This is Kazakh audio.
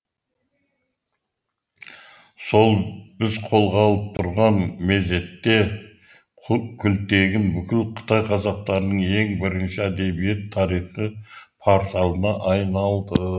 сол біз қолға алып тұрған мезетте күлтегін бүкіл қытай қазақтарының ең бірінші әдебиет тарих порталына айналды